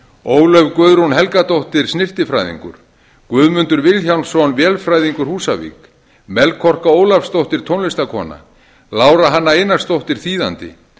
ólöf guðrún helgadóttir snyrtifræðingur guðmundur vilhjálmsson vélfræðingur húsavík melkorka ólafsdóttir tónlistarkona lára hanna einarsdóttir þýðandi